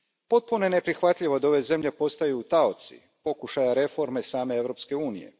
Potpuno je neprihvatljivo da ove zemlje postaju taoci pokušaja reforme same Europske unije.